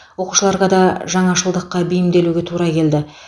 оқушыларға да жаңашылдыққа бейімделуге тура келді